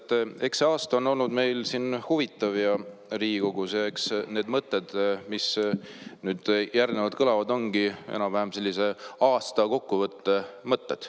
Tead, eks see aasta on meil siin Riigikogus huvitav olnud ja need mõtted, mis nüüd järgnevalt kõlavad, ongi enam-vähem sellised aasta kokkuvõtte mõtted.